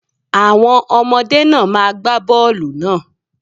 Àwọn ọmọdé náà má gba bọ́ọlù náà.